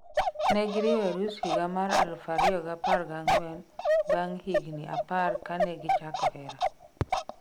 Negiriwo arus higa mar eluf ariyo gi apar gang'wen bang' higni apar kanegichako hera